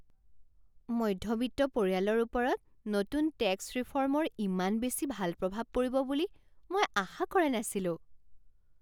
মধ্যবিত্ত পৰিয়ালৰ ওপৰত নতুন টেক্স ৰিফৰ্মৰ ইমান বেছি ভাল প্ৰভাৱ পৰিব বুলি মই আশা কৰা নাছিলোঁ।